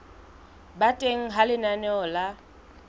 ba teng ha lenaneo la